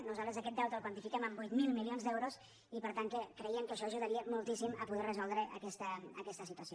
nosaltres aquest deute el quantifiquem en vuit mil milions d’eu·ros i per tant creiem que això ajudaria moltíssim a poder resoldre aquesta situació